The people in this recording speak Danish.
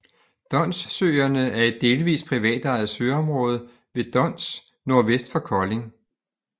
Donssøerne er et delvist privatejet søområde ved Dons nordvest for Kolding